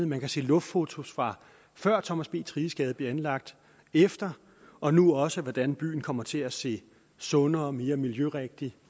man kan se luftfotos fra før thomas b thriges gade blev anlagt efter og nu også af hvordan byen kommer til at se sundere mere miljørigtig